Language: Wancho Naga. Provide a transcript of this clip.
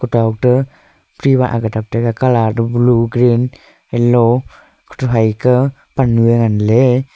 gao te chiwah colour blue green yellow che faikah pannye ngan ley.